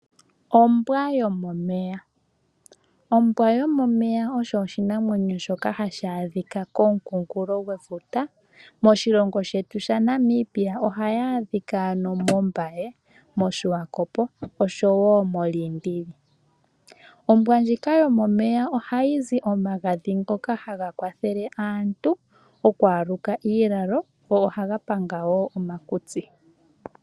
Ombwa yomomeya, ombwa yomomeya osho oshinamwenyo shoka hashi a dhika komunkunkulo gwefuta. Moshilongo shetu shaNamibia ohayi a dhika moMbaye, moSiwakopo osho woo moLiindili. Ombwa ndjika yomomeya ohayi zi omagadhi ngoka haga kwathele aantu okwaaluka iilala, go ohaga panga woo omakutsi.